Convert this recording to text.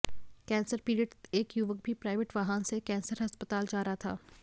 cancer पीड़ित एक युवक भी प्राइवेट वाहन से कैंसर अस्पताल जा रहा था